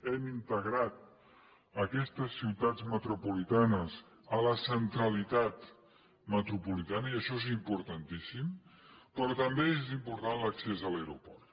hem integrat aquestes ciutats metropolitanes a la centralitat metropolitana i això és importantíssim però també és important l’accés a l’aeroport